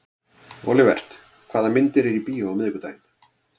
Olivert, hvaða myndir eru í bíó á miðvikudaginn?